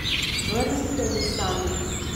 Vrnite mi sanje.